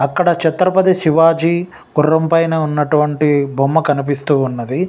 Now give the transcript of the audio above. అక్కడ చక్రపతి శివాజీ గుర్రం పైన ఉన్నటువంటి బొమ్మ కనిపిస్తూ ఉన్నదీ.